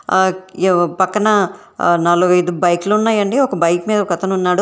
ఆ క్యో పక్కన నాలుగైదు బైకులు ఉన్నాయండి ఒక బైక్ మీద ఒకతను ఉన్నాడు.